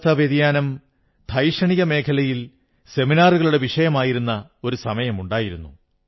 കാലാവസ്ഥാ വ്യതിയാനം വൈജ്ഞാനിക മേഖലയിൽ സെമിനാറുകളുടെ വിഷയമായിരുന്ന ഒരു കാലമുണ്ടായിരുന്നു